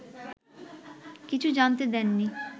কিছু জানতে দেননি